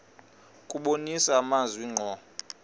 kubonisa amazwi ngqo